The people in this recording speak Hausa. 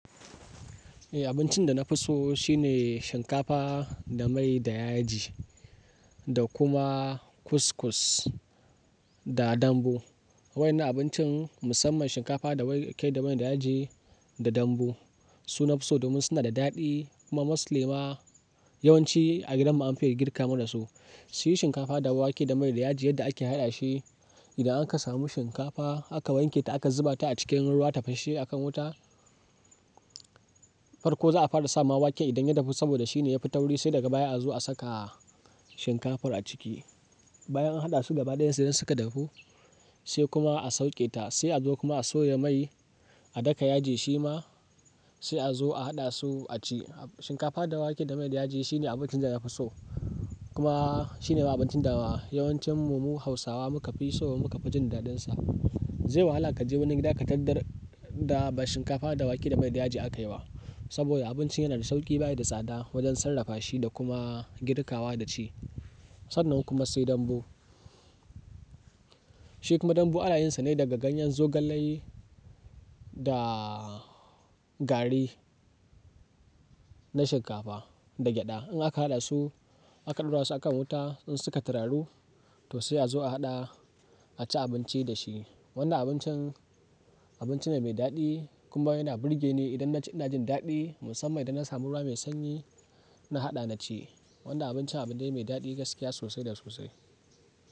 Eh, abincin da na fi so shine shinkafa da mai da yaji, da kuma couscous da dambu. Waɗannan abincin musamman shinkafa da wake da mai da yaji da dambu. Su nafi so, domin suna da daɗi kuma Mostly ma yawanci a gidanmu an fi iya girka mana su. Su yi shinkafa da wake da mai da yaji yadda ake haɗa shi. Idan an ka samu shinkafa aka wanke ta aka zuba ta a cikin ruwa tafashe a kan wuta. Farko za'a fara sawa wake idan ya dahu saboda shine ya fi tauri, sai daga baya a zo a saka shinkafar a ciki. Bayan an haɗa su gaba ɗaya sai dai suka dahu sai kuma a sauƙe ta, sai a zo kuma a soya mai, a daka yaji shi ma sai a zo a haɗa su a ci. Shinkafa da wake da mai da yaji shine abincin da na fi so. Kuma shine ma abincin da yawancin mu Hausawa muka fi so kuma muka fi jin daɗinsa. Zai wahala ka je wani gida ka tarar da ba shinkafa da wake da mai da yaji aka yi wa. Saboda abincin yana da sauƙi baya da tsada wajen sarrafa shi da kuma girkawa da ci. Sannan kuma sai dambu. Shi kuma dambu ana yinsa ne daga ganyen zogalai da gari na shinkafa da gyaɗa. In aka haɗa su aka ɗora su a kan wuta in suka tararu to sai a zo a haɗa a ci abinci da shi. Wannan abincin, abinci ne mai daɗi kuma yana burge ni idan na ci ina jin daɗi musamman idan na samu ruwa mai sanyi ina haɗa na ci. Wannan abincin abu ne mai daɗi gaskiya sosai da sosai.